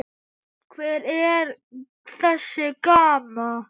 Hver er þessi Gamma?